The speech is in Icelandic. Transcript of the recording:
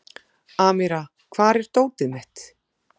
Amíra, hvar er dótið mitt?